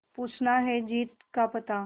पूछना है जीत का पता